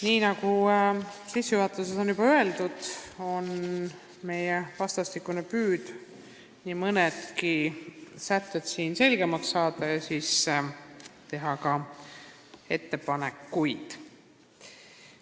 Nii nagu sissejuhatuses juba öeldud sai, on meie vastastikune püüd siin nii mõnedki sätted selgemaks saada ja teha ka ettepanekuid.